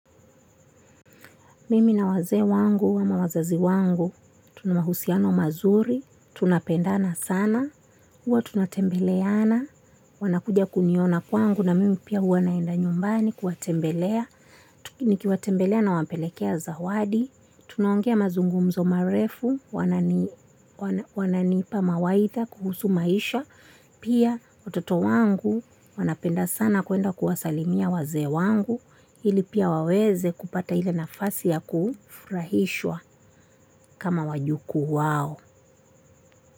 Mimi na wazee wangu, ama wazazi wangu, tuna mahusiano mazuri, tunapendana sana, huwa tunatembeleana, wanakuja kuniona kwangu na mimi pia huwa naenda nyumbani kuwatembelea. Nikiwatembelea nawapelekea zawadi, tunaongea mazungumzo marefu, wananiipa mawaidha kuhusu maisha, pia watoto wangu wanapenda sana kwenda kuwasalimia wazee wangu, iili pia waweze kupata ile nafasi ya kufurahishwa kama wajukuu wao.